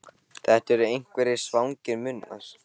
Þetta eru einhverjir svangir munnar.